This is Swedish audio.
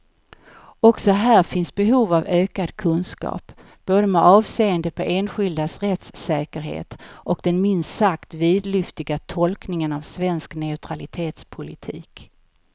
Också här finns behov av ökad kunskap, både med avseende på enskildas rättssäkerhet och den minst sagt vidlyftiga tolkningen av svensk neutralitetspolitik.